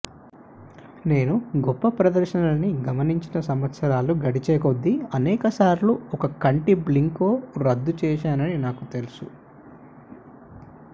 నేను గొప్ప ప్రదర్శనలని గమనించిన సంవత్సరాలు గడిచేకొద్దీ అనేకసార్లు ఒక కంటి బ్లింక్లో రద్దు చేశానని నాకు తెలుసు